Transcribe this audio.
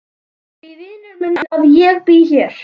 Af því vinur minn að ég bý hér.